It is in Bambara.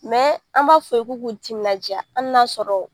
an b'a fɔ u ye k'u k'u timinadiya hali n'a sɔrɔ